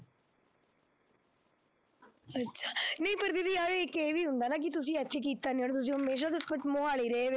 ਅੱਛਾ ਨਹੀਂ ਪਰ ਦੀਦੀ ਯਾਰ ਇੱਕ ਇਹ ਵੀ ਹੁੰਦਾ ਨਾ ਕਿ ਤੁਸੀਂ ਇੱਥੇ ਕੀਤਾ ਨੀ ਹੁਣ ਤੁਸੀਂ ਹਮੇਸ਼ਾ ਤੋਂ ਮੁਹਾਲੀ ਰਹੇ ਹੋਏ